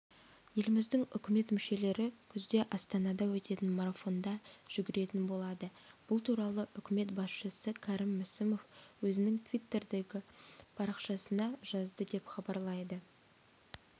еліміздің үкімет мүшелері күзде астанада өтетін марафонда жүгіретін болады бұл туралы үкімет басшысы кәрім мәсімов өзінің твиттердегі парақшасына жазды деп хабарлайды